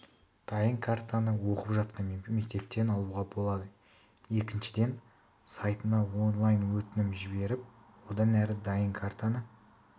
дайын картаны оқып жатқан мектептен алуға болады екіншіден сайтына онлайн-өтінім жіберіп одан әрі дайын картаны